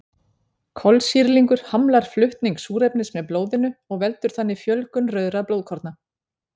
Kolsýrlingur hamlar flutning súrefnis með blóðinu og veldur þannig fjölgun rauðra blóðkorna.